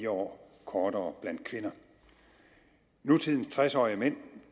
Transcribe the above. år kortere for kvinder nutidens tres årige mænd